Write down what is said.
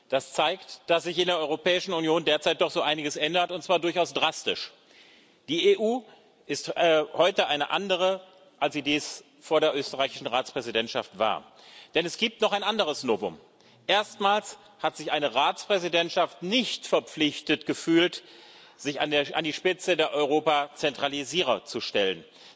Das zeigt, dass sich in der Europäischen Union derzeit doch so einiges ändert, und zwar durchaus drastisch. Die EU ist heute eine andere, als sie dies vor der österreichischen Ratspräsidentschaft war, denn es gibt noch ein anderes Novum Erstmals hat sich eine Ratspräsidentschaft nicht verpflichtet gefühlt, sich an die Spitze der Europa Zentralisierer zu stellen.